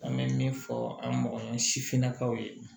An bɛ min fɔ an mɔgɔ ɲɛnɛ sifinnakaw ye